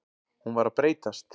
Hún var að breytast.